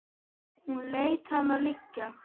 Hún lét hana liggja.